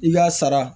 I ka sara